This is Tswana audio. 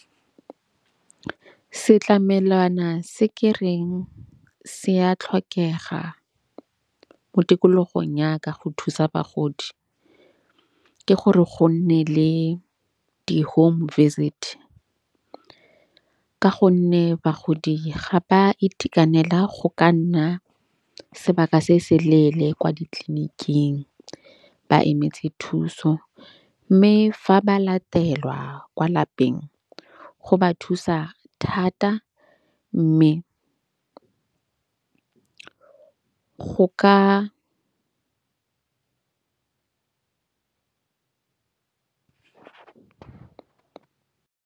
Setlamelwana se ke reng se a tlhokega mo tikologong ya ka go thusa bagodi, ke gore go nne le di-home visit. Ka gonne bagodi ga ba itekanela go ka nna sebaka se se leele kwa ditleliniking, ba emetse thuso. Mme fa ba latelwa kwa lapeng o ba thusa thata mme go ka.